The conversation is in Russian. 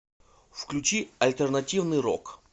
включи альтернативный рок